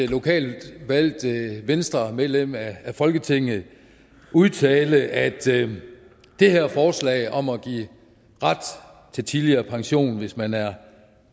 lokalt valgt venstremedlem af folketinget udtale at det her forslag om at give ret til tidligere pension hvis man er